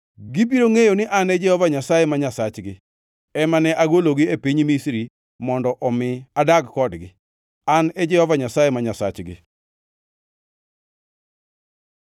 Gibiro ngʼeyo ni an Jehova Nyasaye ma Nyasachgi ema ne agologi e piny Misri mondo omi adag kodgi. An e Jehova Nyasaye ma Nyasachgi.